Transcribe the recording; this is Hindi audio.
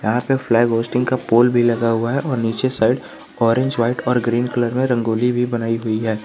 यहाँ पे फ्लैग होइस्टिंग का पोल भी लगा हुआ है और नीचे साइड ऑरेंज वाइट और ग्रीन कलर का रंगोली भी बनाई हुई है।